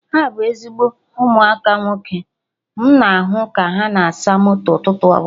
Ha bụ ezigbo ụmụaka nwoke, m na ahụ ka ha na asa moto ụtụtụ ọbụla